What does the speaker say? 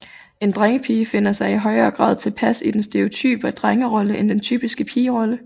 En drengepige finder sig i højere grad tilpas i den stereotype drengerolle end den typiske pigerolle